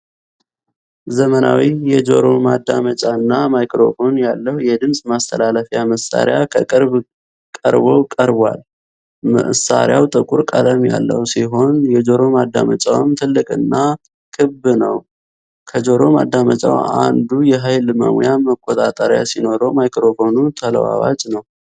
ዘመናዊ የጆሮ ማዳመጫና ማይክሮፎን ያለው የድምፅ ማስተላለፊያ መሳሪያ ከቅርብ ቀርቦ ቀርቧል። መሣሪያው ጥቁር ቀለም ያለው ሲሆን፣ የጆሮ ማዳመጫው ትልቅና ክብ ነው። ከጆሮ ማዳመጫው አንዱ የኃይል መሙያ መቆጣጠሪያ ሲኖረው፣ ማይክሮፎኑ ተለዋዋጭ ነው።